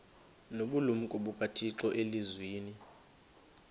nobulumko bukathixo elizwini